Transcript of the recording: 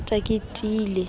ke o rata ke tiile